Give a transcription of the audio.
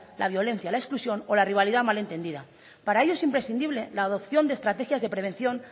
la violencia la exclusión o la rivalidad mal entendida para ello es imprescindible la adopción de estrategias de prevención